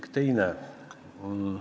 Ja teine külg.